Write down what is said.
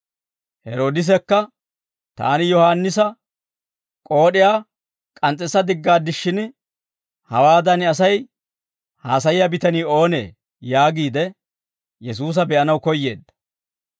Heroodisekka, «Taani Yohaannisa k'ood'iyaa k'ans's'issa diggaaddishshin, hawaadan Asay haasayiyaa bitanii oonee?» yaagiide, Yesuusa be'anaw koyyeedda.